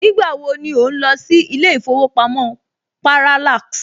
Nígbà wo ni ò ń lọ sí ilé ìfowópamọ́ Parallax